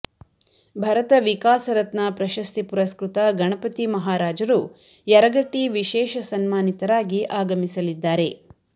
ಭರತ ವಿಕಾಸರತ್ನ ಪ್ರಶಸ್ತಿ ಪುರಸ್ಕ್ಕತ ಗಣಪತಿ ಮಹಾರಾಜರು ಯರಗಟ್ಟಿ ವಿಷೇಶ ಸನ್ಮಾನಿತರಾಗಿ ಆಗಮಿಸಲಿದ್ದಾರೆ